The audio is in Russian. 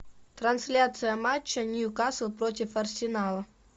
трансляция матча ньюкасл против арсенала